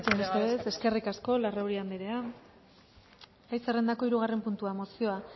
besterik gabe eskerrik asko eskerrik asko larrauri anderea gai zerrendako hirugarren puntua mozioa